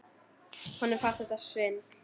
Honum fannst þetta svindl.